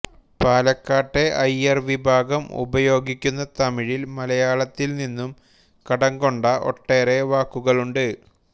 പാലക്കാട്ടെ അയ്യർ വിഭാഗം ഉപയോഗിക്കുന്ന തമിഴിൽ മലയാളത്തിൽ നിന്നും കടംകൊണ്ട ഒട്ടേറെ വാക്കുകളുണ്ട്